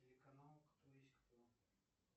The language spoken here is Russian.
телеканал кто есть кто